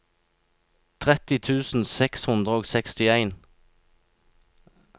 tretti tusen seks hundre og sekstien